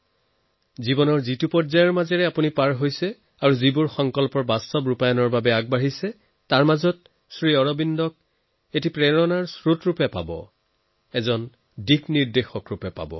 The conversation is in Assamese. জীৱনৰ যি ভাব অৱস্থাত আপুনি আছে যি সংকল্প সিদ্ধ কৰিবলৈ আপুনি প্ৰয়াসৰত তাৰ মাজত আপুনি সদায়ে শ্ৰী অৰবিন্দক এটা নতুন প্ৰেৰণা দিয়া পাব এটা নতুন পথ দেখুৱাই দিয়া পাব